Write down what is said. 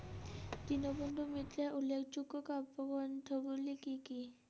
দীনবন্ধুর মিত্রের উল্লেখযোগ্য কাব্যগ্রন্থগুলো কী কী?